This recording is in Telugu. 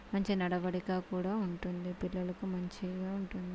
మంచి నడవడికా కూడా ఉంటుంది పిల్లలకు మంచిగా ఉంటుంది.